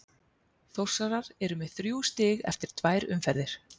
Þórsarar eru með þrjú stig eftir tvær umferðir.